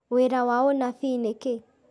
wĩra wa ũnabii nĩ kĩĩ?